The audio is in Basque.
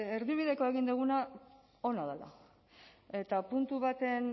erdibidekoa egin duguna ona dela eta puntu baten